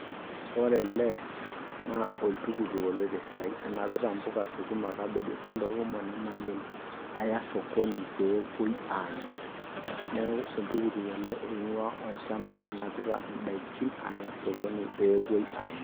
Ore ele naa oltuktuk oloito esiai onapita mpuka, sukuma ontokini kumok namayiolo aya osokoni pee epuoi amie, neaku oltuktuk ele oingua olchamba onapita idaikin aya osokoni peyie epuoi amir.